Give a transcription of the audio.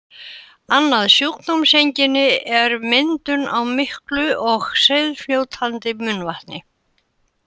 Annað sjúkdómseinkenni er myndun á miklu og seigfljótandi munnvatni.